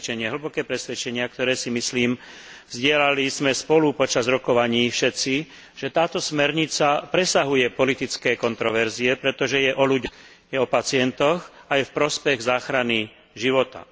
hlboké presvedčenie, ktoré, si myslím, zdieľali sme spolu počas rokovaní všetci, že táto smernica presahuje politické kontroverzie, pretože je o ľuďoch, je o pacientoch a je v prospech záchrany života.